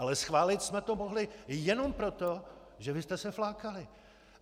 Ale schválit jsme to mohli jenom proto, že vy jste se flákali.